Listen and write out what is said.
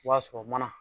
I b'a sɔrɔ mana